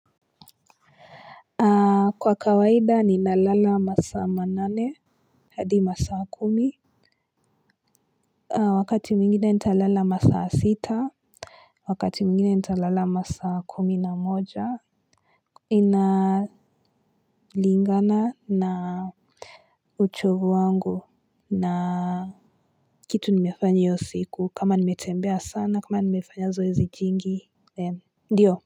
Kwa kawaida ninalala masaa manane hadi masaa kumi wakati mwingine nitalala masaa sita wakati mwingine nitalala masaa kumi na moja inalingana na uchovu wangu na kitu nimefanya hiyo siku kama nimetembea sana kama nimefanya zoezi jingi ndio.